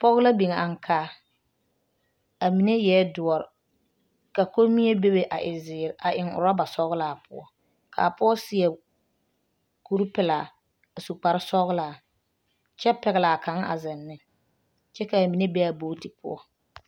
Pɔge la biŋ ankaa a mine eɛ doɔre ka kommie bebe a e zeere a eŋ orɔba sɔglaa poɔ k,a pɔge seɛ kuripelaa a su kparsɔglaa kyɛ pɛgle a kaŋ a zeŋ ne kyɛ k,a mine be a bogti poɔ.